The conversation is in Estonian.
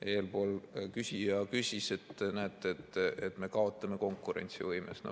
Eespool küsija ütles, et näete, me kaotame konkurentsivõimes.